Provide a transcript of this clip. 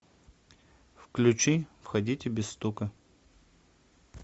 включи входите без стука